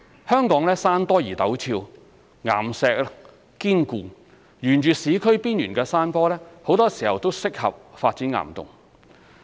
香港山多而陡峭，岩石堅固，沿市區邊緣的山坡很多時候都適合發展岩洞。